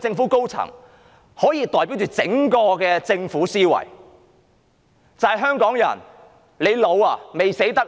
政府高層，他們的言論可以代表整個政府的思維，就是："香港人，你老了嗎？